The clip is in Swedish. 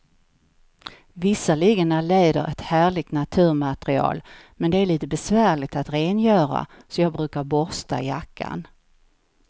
Visserligen är läder ett härligt naturmaterial, men det är lite besvärligt att rengöra, så jag brukar borsta jackan.